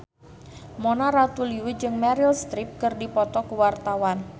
Mona Ratuliu jeung Meryl Streep keur dipoto ku wartawan